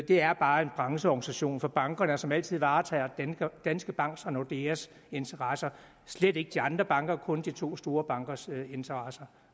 det er bare en brancheorganisation for bankerne som altid varetager danske banks og nordeas interesser slet ikke de andre bankers kun de to store bankers interesser